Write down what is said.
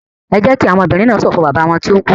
Ẹ jẹ́ kí àwọn ọmọbìnrin náà ṣọ̀fọ̀ bàbá wọn tó kú!